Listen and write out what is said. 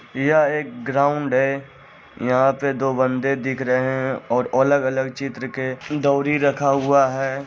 यह एक ग्राउंड है यहां पे दो बन्दे दिख रहे है और अलग-अलग चित्र के दौरी रखा हुआ है।